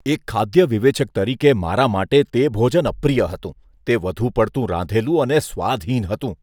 એક ખાદ્ય વિવેચક તરીકે મારા માટે તે ભોજન અપ્રિય હતું. તે વધુ પડતું રાંધેલું અને સ્વાદહીન હતું.